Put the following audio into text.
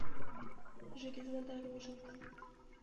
железнодорожник